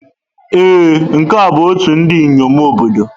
Ee, nke a bụ ọtú ndị inyom obodo.